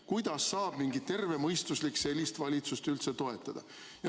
Kuidas saab mingi tervemõistuslik sellist valitsust üldse toetada?